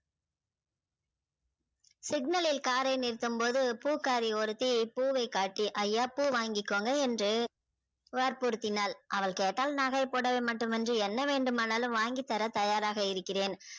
signal நலில் car றை நிறுத்தும் போது பூக்காரி ஒருத்தி பூ வை காட்டி ஐயா பூ வாங்கிகோங்க என்று வர்புர்தினால் அவள் கேட்டால் நகை புடவை மட்டும் மின்றி என்ன வேண்டும் என்றாலும் வாங்கி தர தயாராக இருகிறேன்